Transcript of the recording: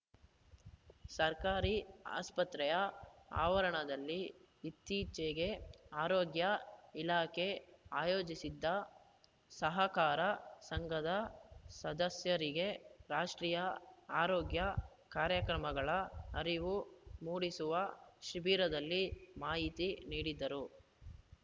ಸರ್ಕಾರಿ ಆಸ್ಪತ್ರೆಯ ಆವರಣದಲ್ಲಿ ಇತ್ತೀಚೆಗೆ ಆರೋಗ್ಯ ಇಲಾಖೆ ಆಯೋಜಿಸಿದ್ದ ಸಹಕಾರ ಸಂಘದ ಸದಸ್ಯರಿಗೆ ರಾಷ್ಟ್ರೀಯ ಆರೋಗ್ಯ ಕಾರ್ಯಕ್ರಮಗಳ ಅರಿವು ಮೂಡಿಸುವ ಶಿಬಿರದಲ್ಲಿ ಮಾಹಿತಿ ನೀಡಿದರು